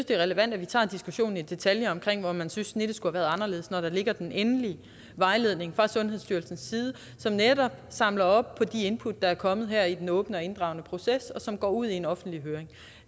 det er relevant at vi tager diskussionen i detaljer om hvor man synes at snittet skulle have været anderledes når der ligger den endelige vejledning fra sundhedsstyrelsens side som netop samler op på de input der er kommet her i den åbne og inddragende proces og som går ud i en offentlig høring